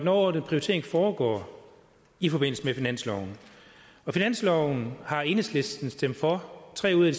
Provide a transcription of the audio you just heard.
overordnede prioritering foregår i forbindelse med finansloven finansloven har enhedslisten stemt for tre ud af